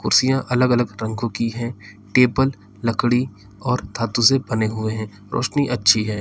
कुर्सियां अलग अलग रंगों की है टेबल लकड़ी और धातु से बने हुए हैं रोशनी अच्छी है।